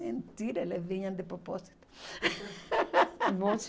Mentira, eles vinham de propósito.